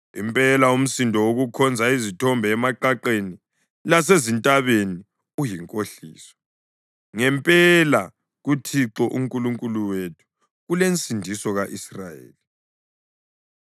Impela umsindo wokukhonza izithombe emaqaqeni lasezintabeni uyinkohliso, ngempela kuThixo uNkulunkulu wethu kulensindiso ka-Israyeli.